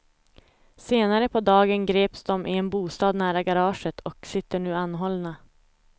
Senare på dagen greps de i en bostad nära garaget och sitter nu anhållna.